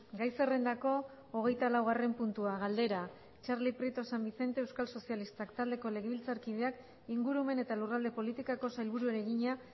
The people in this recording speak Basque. gai zerrendako hogeitalaugarren puntua galdera txarli prieto san vicente euskal sozialistak taldeko legebiltzarkideak ingurumen eta lurralde politikako sailburuari egina